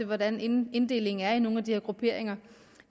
hvordan inddelingen er i nogle af de her grupperinger